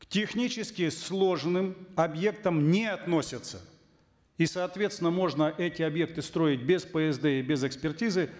к технически сложным объектам не относятся и соответственно можно эти объекты строить без псд и без экспертизы